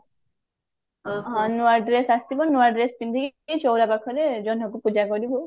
ନୂଆ dress ଆସିଥିବ ନୂଆ dress ପିନ୍ଧିକି ଚଉରା ପାଖରେ ଜହ୍ନକୁ ପୂଜା କରିବୁ